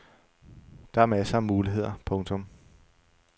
Der er masser af muligheder. punktum